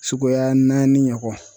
Suguya naani ɲɔgɔn